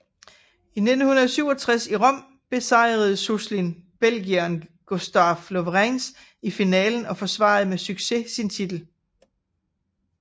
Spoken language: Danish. I 1967 i Rom besejrede Suslin belgieren Gustaaf Lauwereins i finalen og forsvarede med succes sin titel